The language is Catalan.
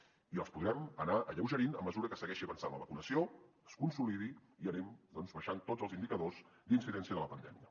i els podrem anar alleugerint a mesura que segueixi avançant la vacunació es consolidi i anem doncs baixant tots els indicadors d’incidència de la pandèmia